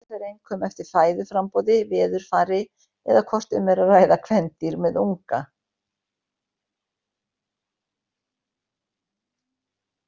Þetta fer einkum eftir fæðuframboði, veðurfari eða hvort um er að ræða kvendýr með unga.